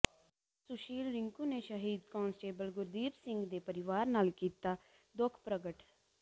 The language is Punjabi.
ਸੁਸ਼ੀਲ ਰਿੰਕੂ ਨੇ ਸ਼ਹੀਦ ਕਾਂਸਟੇਬਲ ਗੁਰਦੀਪ ਸਿੰਘ ਦੇ ਪਰਿਵਾਰ ਨਾਲ ਕੀਤਾ ਦੁੱਖ ਪ੍ਰਗਟ